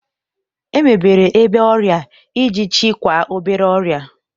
Emebere ebe ọrịa iji chịkwaa obere ọrịa